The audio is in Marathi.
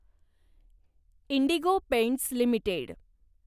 Indigo Paints limited